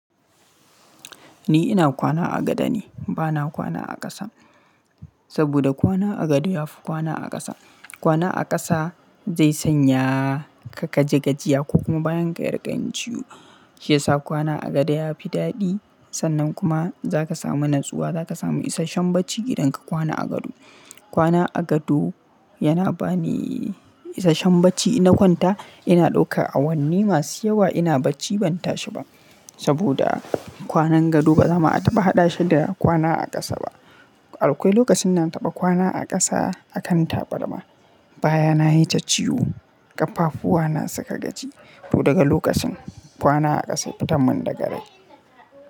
Ni ina kwana a gado ne, bana kwana a ƙasa. Saboda kwana a gado ya fi kwana a ƙasa. Kwana a ƙasa zai sanya ka kaji gajiya ko kuma bayan ka yi ƙayyade ciwo. Shi yasa kwana a gado ya fi daɗi sannan kuma za ka samu natsuwa, za ka samu isashen bacci idan ka kwana a gado. Kwana a gado yana bani isashen bacci. Ina kwanta ina ɗauka awanni masu yawa ina bacci ban tashi ba. Saboda kwanan gado ba za mu taɓa haɗa shi da kwana a ƙasa ba. Akwai lokacin na taɓa kwana a ƙasa a kan tabarma baya na yi ta ciwo, ƙafafu wa na suka gaji. To daga lokacin kwana a ƙasa fitan mun daga riga.